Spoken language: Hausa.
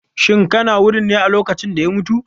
Shin kana wurin ne a lokacin da ya mutu?